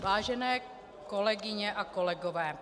Vážené kolegyně a kolegové...